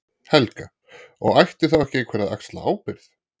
Helga: Og ætti þá ekki einhver að axla ábyrgð?